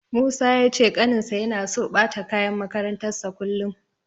Musa ya ce ƙaninsa yana so ɓata kayan makarantarsa kullum.